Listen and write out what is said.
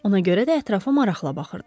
Ona görə də ətrafa maraqla baxırdı.